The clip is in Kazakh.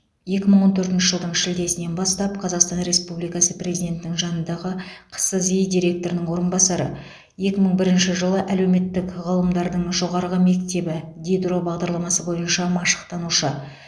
екі мың он төртінші жылдың шілдесінен бастап қазақстан республикасы президентінің жанындағы қсзи директорының орынбасары екі мың бірінші жылы әлеуметтік ғылымдардың жоғарғы мектебі дидро бағдарламасы бойынша машықтанушы